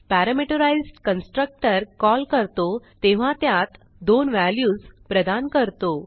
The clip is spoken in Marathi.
पॅरामीटराईज्ड कन्स्ट्रक्टर कॉल करतो तेव्हा त्यात दोन व्हॅल्यूज प्रदान करतो